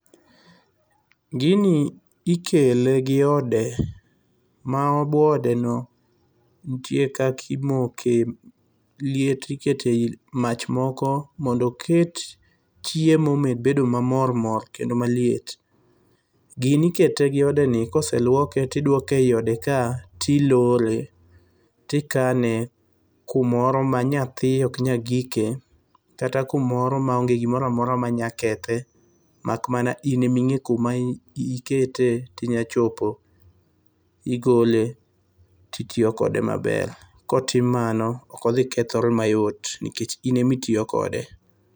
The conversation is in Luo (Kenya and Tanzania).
Gini ikele gi ode ma bwo odeno nitie kaka imoke liet, ikete mach moko mondo oket chiemo omed bedo mamormor kata maliet. Gini ikete gi odeni kose luoke, tiduoke eiodeka, tilore, tikane kumoro ma nyathi ok nyal gike kata kumoro maonge gimoro amora manyakethe. Mak mana in ema ing'e kuma inya ketee, tinyachopo igole titiyo kode maber. Kotim mano ok odhi kethore mayot nikech in emitiyo kode.